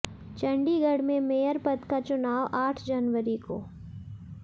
चंडीगढ़ में मेयर पद का चुनाव आठ जनवरी को